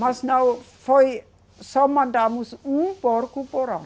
Mas não foi, só mandamos um porco por ano.